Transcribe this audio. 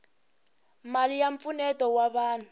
mali ya mpfuneto wa vanhu